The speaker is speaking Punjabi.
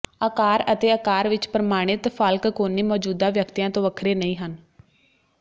ਆਕਾਰ ਅਤੇ ਆਕਾਰ ਵਿਚ ਪ੍ਰਮਾਣਿਤ ਫਾਲਕਕੋਨੀ ਮੌਜੂਦਾ ਵਿਅਕਤੀਆਂ ਤੋਂ ਵੱਖਰੇ ਨਹੀਂ ਹਨ